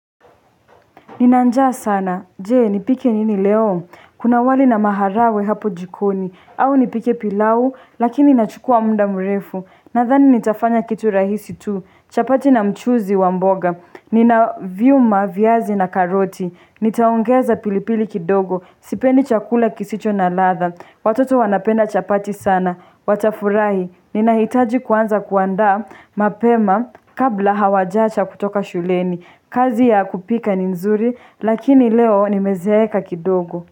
Ninanjaa sana. Je nipike nini leo? Kuna wali na maharawe hapo jikoni. Au nipike pilau, lakini inachukua muda mrefu. Nadhani nitafanya kitu rahisi tu. Chapati na mchuuzi wamboga. Nina viuma, viazi na karoti. Nitaongeza pilipili kidogo. Sipendi chakula kisicho na ladha. Watoto wanapenda chapati sana. Watafurahi. Ninahitaji kuanza kuanda mapema kabla hawajacha kutoka shuleni. Kazi ya kupika ni nzuri lakini leo nimezeeka kidogo.